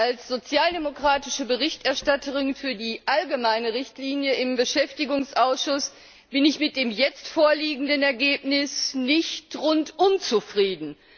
Als sozialdemokratische Berichterstatterin für die allgemeine Richtlinie im Beschäftigungsausschuss bin ich mit dem jetzt vorliegenden Ergebnis nicht rundum zufrieden.